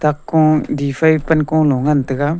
dakko di fai pankolo ngan taiga.